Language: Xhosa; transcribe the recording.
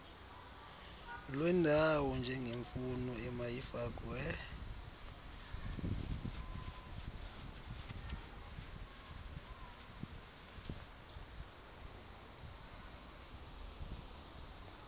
lwendawo njengemfuno emayifakwe